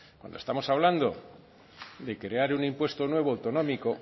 cuando estamos hablando de crear un impuesto nuevo autonómico